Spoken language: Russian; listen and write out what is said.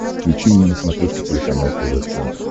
включи мне на смотрешке телеканал тв центр